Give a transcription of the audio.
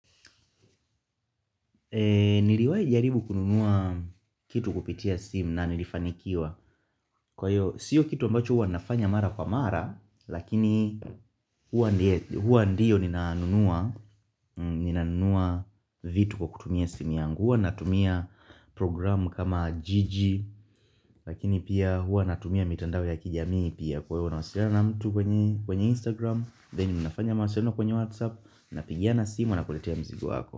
Niliwahi jaribu kununua kitu kupitia simu na nilifanikiwa Kwa hiyo, sio kitu ambacho huwa nafanya mara kwa mara Lakini huwa ndio ninaunua vitu kwa kutumia simu yangu huwa natumia programu kama jiji Lakini pia huwa natumia mitandao ya kijamii pia Kwa hiyo nawasilana na mtu kwenye Instagram Then ninafanya mawasilano kwenye WhatsApp Napigiana simu wanakuletea mzigo wako.